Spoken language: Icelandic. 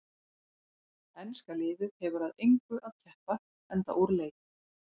Enska liðið hefur að engu að keppa enda úr leik.